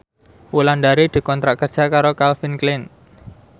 Wulandari dikontrak kerja karo Calvin Klein